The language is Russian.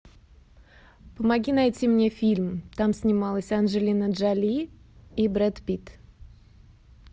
помоги найти мне фильм там снималась анджелина джоли и брэд питт